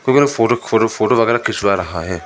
Photo खोटो photo वगैरह खिंचवा रहा है।